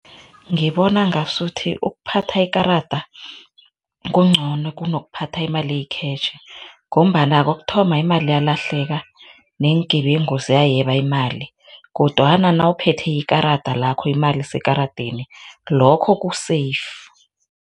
Ngibona ngasuthi ukuphatha ikarada kuncono kunokukuphatha imali eyikhetjhi ngombana kokuthoma imali yalahleka neengebengu ziyayeba imali kodwana nawuphethe ikarada lakho imali isekaradeni, lokho ku-safe.